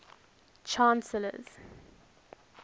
chancellors